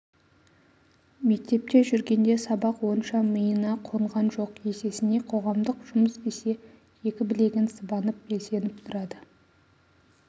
мектепте жүргенде сабақ онша миына қонған жоқ есесіне қоғамдық жұмыс десе екі білегін сыбанып белсеніп тұрады